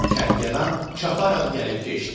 Kərgədan çaparaq gəlib keçdi.